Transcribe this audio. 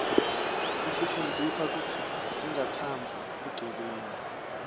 isifundzisa kutsi singatsandzi bugebengu